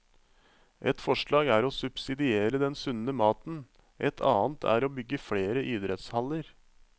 Et forslag er å subsidiere den sunne maten, et annet er å bygge flere idrettshaller.